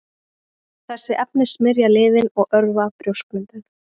Þessi efni smyrja liðinn og örva brjóskmyndun.